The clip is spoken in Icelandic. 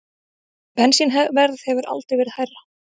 Bensínverð hefur aldrei verið hærra